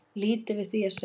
Lítið við því að segja